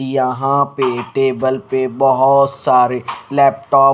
यहां पे टेबल पे बहोत सारे लैपटॉप --